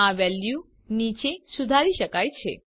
આ વેલ્યુ નીચે સુધારી શકાય છે